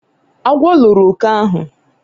agwo loro oke ahu